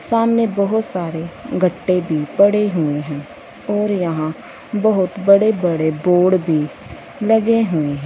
सामने बहोत सारे गड्ढे भी बड़े हुए है और यहां बहोत बड़े बड़े बोर्ड भी लगे हुए है।